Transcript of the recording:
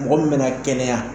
Mɔgɔ min mɛna kɛnɛya.